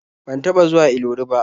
Ban taɓa zuwa Ilori ba.